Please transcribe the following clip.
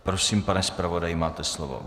Prosím, pane zpravodaji, máte slovo.